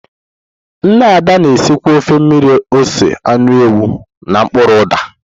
Nne Ada na-esikwa ofe mmiri ose anụ ewu na mkpuru uda.